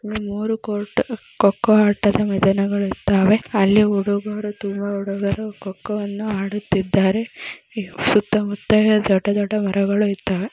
ಮೂರೂ ಕೋರ್ಟ್ ಕೊಕ್ಕೋ ಆಟದ ಮೈದಾನ ಇದ್ದವೇ ಇಲ್ಲಿ ಹುಡುಗರು ತುಂಬ ಹುಡುಗರು ಕೊಕ್ಕೋವನ್ನು ಆಡುತಿದ್ದರೆ ಸುತ್ತ ಮುತ್ತ ದೊಡ್ಡ ದೊಡ್ಡ ಮರಗಳು ಇದ್ದಾವೆ.